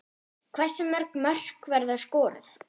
Hversu mörg mörk verða skoruð?